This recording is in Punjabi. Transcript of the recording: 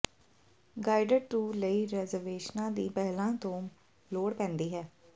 ਗਾਈਡਡ ਟੂਰ ਲਈ ਰਿਜ਼ਰਵੇਸ਼ਨਾਂ ਦੀ ਪਹਿਲਾਂ ਤੋਂ ਲੋੜ ਪੈਂਦੀ ਹੈ